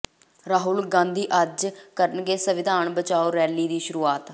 ਰਾਹੁਲ ਗਾਂਧੀ ਅੱਜ ਕਰਨਗੇ ਸੰਵਿਧਾਨ ਬਚਾਓ ਰੈਲੀ ਦੀ ਸ਼ੁਰੂਆਤ